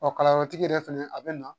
Ɔ kalanyɔrɔtigi yɛrɛ fɛnɛ a bɛ na